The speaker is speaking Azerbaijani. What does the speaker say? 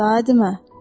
Daha demə.